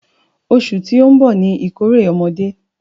Oṣù tí ó ń bọ̀ ni ìkórè ọmọdé.